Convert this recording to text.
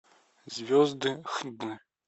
звезды х д